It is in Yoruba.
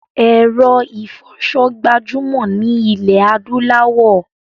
Èro ìfoso gbajúmò ni ilẹ̀ adúláwò